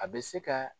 A bɛ se ka